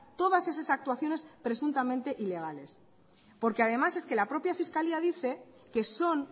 todas esas actuaciones presuntamente ilegales porque además es que la propia fiscalía dice que son